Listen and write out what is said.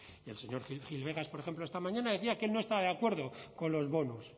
y el señor gil vegas por ejemplo esta mañana decía que él no está de acuerdo con los bonos